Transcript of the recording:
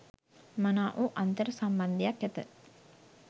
මනා වූ අන්තර් සම්බන්ධයක් ඇත.